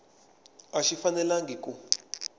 a xi fanelangi ku